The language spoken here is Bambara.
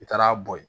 I taara bo yen